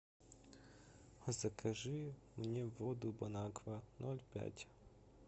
закажи мне воду бонаква ноль пять